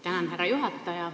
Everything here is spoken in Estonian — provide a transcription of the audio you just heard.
Tänan, härra juhataja!